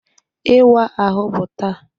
Ịwa ahụ bụ taa